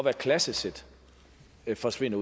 at klassesæt forsvinder